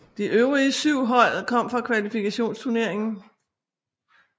De øvrige syv hold kom fra kvalifikationsturneringen